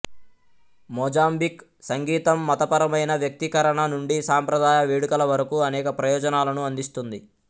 Mozambique సంగీతం మతపరమైన వ్యక్తీకరణ నుండి సాంప్రదాయ వేడుకల వరకు అనేక ప్రయోజనాలను అందిస్తుంది